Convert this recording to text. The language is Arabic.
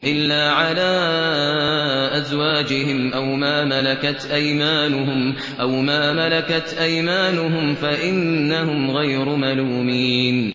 إِلَّا عَلَىٰ أَزْوَاجِهِمْ أَوْ مَا مَلَكَتْ أَيْمَانُهُمْ فَإِنَّهُمْ غَيْرُ مَلُومِينَ